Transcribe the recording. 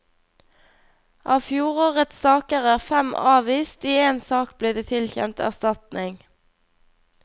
Av fjorårets saker er fem avvist, i én sak ble det tilkjent erstatning.